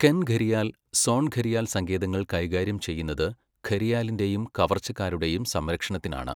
കെൻ ഘരിയാൽ, സോൺ ഘരിയാൽ സങ്കേതങ്ങൾ കൈകാര്യം ചെയ്യുന്നത് ഘരിയാലിന്റെയും കവർച്ചക്കാരുടെയും സംരക്ഷണത്തിനാണ്.